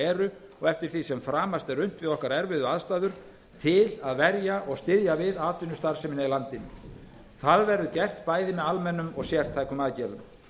eru og eftir því sem framast er unnt við okkar erfiðu aðstæður til að verja og styðja við atvinnustarfsemina í landinu það verði gert bæði með almennum og sértækum aðgerðum